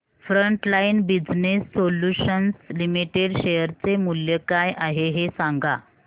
frontline business solutions limited share चे मूल्य काय आहे हे सांगा